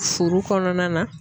Furu kɔnɔna na.